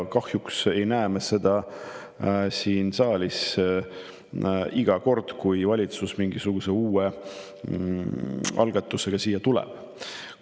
Kahjuks ei näe me seda siin saalis iga kord, kui valitsus mingisuguse uue algatusega siia tuleb.